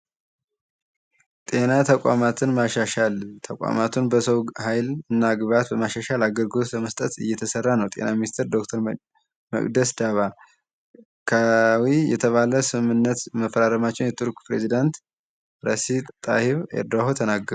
ጤና ተቋማትን ማሻሻል ጤና ተቋማትን በሰው ሃይል እና ግብአት በማሻሻል አገልግሎት ለመስጠት እየተሰራ ነው። ጤና ሚንስቴር ዶክተር መቅደስ ዳባ ህጋዊ የተባለ ስምምነት መፈራረማቸውን የቱርክ ፕረዚዳንት ጣኢብ ኤርዶሃን ተናገሩ።